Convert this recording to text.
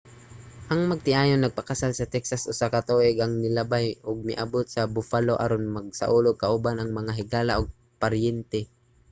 ang magtiayon nagpakasal sa texas usa ka tuig ang milabay ug miabut sa buffalo aron magsaulog kauban ang mga higala ug paryente